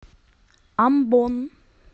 амбон